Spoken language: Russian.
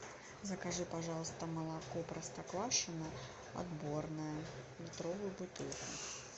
закажи пожалуйста молоко простоквашино отборное литровую бутылку